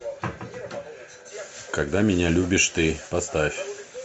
когда меня любишь ты поставь